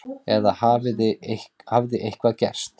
Eða hafði eitthvað gerst?